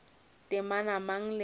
temana mang le mang yo